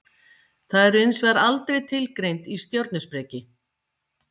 Þau eru hins vegar aldrei tilgreind í stjörnuspeki.